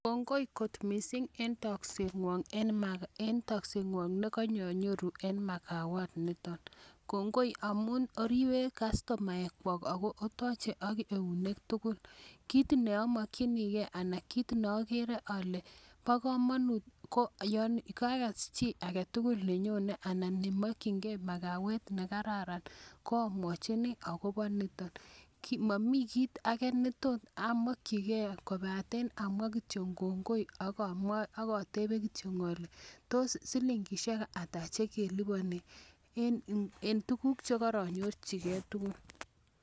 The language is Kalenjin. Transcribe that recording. Kongoi kot mising eng takseng Wong ne kanyayoru eng makawat nitok. Kongoi amun oribe customaek kwok, AK otache AK eunek tugul. kit neamakchinigei ana ko kit neagere kobo kamanut ko kakas chi agetugul nenyonei anan neamakchinigei makawat nekararan amwachini akobo nitok. Mami kit age netos amakchigei kobate amwa kityo kongoi AK atebe kityo ale tos silingishek ata che kelipani eng tukuk che karanyorchigeoi.